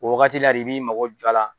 O wagati la de i b'i mago jɔ a la.